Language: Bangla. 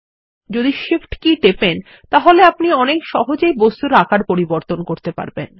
যদি Shift কী টেপেন তাহলে আপনি অনেক সহজে বস্তুর পুনঃ মাপ করতে পারবেন